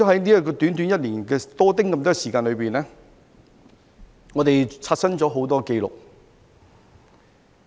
在短短1年多的時間裏，我們刷新了很多紀錄。